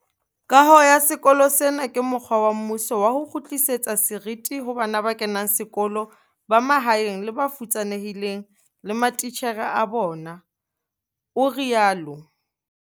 Kaho ya sekolo sena ke mokgwa wa mmuso wa ho kgutlisetsa seriti ho bana ba kenang sekolo ba mahaeng le ba futsanehileng le matitjhere a bona, o rialo.